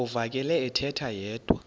uvakele ethetha yedwa